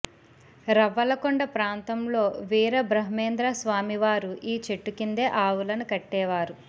రవ్వలకొండ ప్రాంతంలో వీరబ్రహ్మేంద్ర స్వామివారు ఈ చెట్టు కిందే ఆవులను కట్టేవారు